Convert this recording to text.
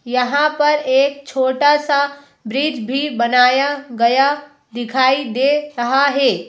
यहां पर एक छोटा सा ब्रिज भी बनाया गया दिखाई दे रहा है।